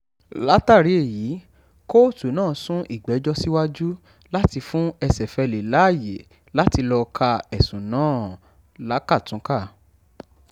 látàrí èyí kóòtù náà sún ìgbẹ́jọ́ síwájú láti fún ẹsẹ̀fẹ·lẹ̀ láàyè láti lọ́ọ̀ ka ẹ̀sùn náà lákàtúnkà